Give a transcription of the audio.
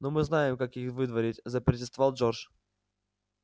но мы знаем как их выдворять запротестовал джордж